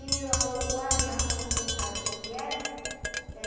E ah uh uh a janta, você sabe o que que era?